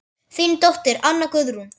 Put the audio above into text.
Þín dóttir, Anna Guðrún.